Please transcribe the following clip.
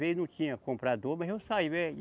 Às vezes, não tinha comprador, mas eu saía.